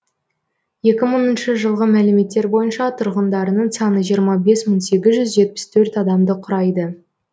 екі мыңыншы жылғы мәліметтер бойынша тұрғындарының саны жиырма бес мың сегіз жүз жетпіс төрт адамды құрайды